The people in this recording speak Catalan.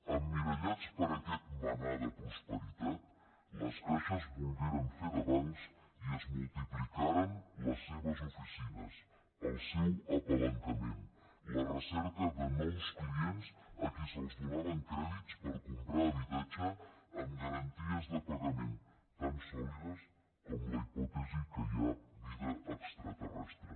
emmirallats per aquest mannà de prosperitat les caixes volgueren fer de bancs i es multiplicaren les seves oficines el seu palanquejament la recerca de nous clients a qui es donaven crèdits per comprar habitatge amb garanties de pagament tan sòlides com la hipòtesi que hi ha vida extraterrestre